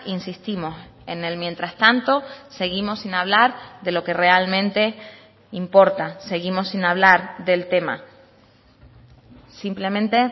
insistimos en él mientras tanto seguimos sin hablar de lo que realmente importa seguimos sin hablar del tema simplemente